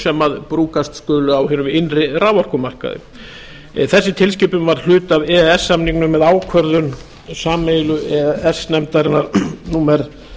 sem brúkast skulu á hinum innri raforkumarkaði þessi tilskipun var hluti af e e s samningnum með ákvörðun sameiginlegu e e s nefndarinnar númer